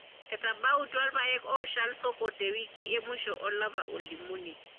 Etabautua irpaek ooshal osoko te wiki e musho olapa olimunii.